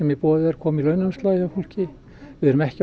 í boði komi í launaumslagið hjá fólki við erum ekki að